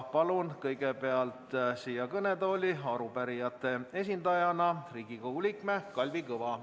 Palun kõigepealt kõnetooli arupärijate esindajana Riigikogu liikme Kalvi Kõva.